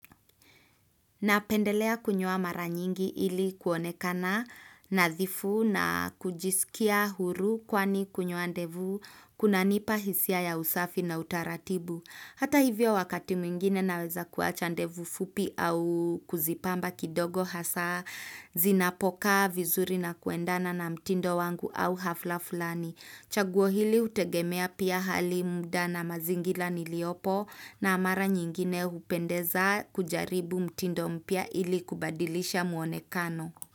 Napendelea kunyoa mara nyingi ili kuonekana nadhifu na kujisikia huru kwani kunyoa ndevu kuna nipa hisia ya usafi na utaratibu. Hata hivyo wakati mwingine naweza kuacha ndevu fupi au kuzipamba kidogo hasa zinapokaa vizuri na kuendana na mtindo wangu au hafla fulani. Chaguo hili hutegemea pia hali muda na mazingila niliopo na amara nyingine hupendeza kujaribu mtindo mpya ili kubadilisha muonekano.